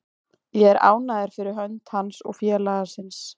Ég er ánægður fyrir hönd hans og félagsins.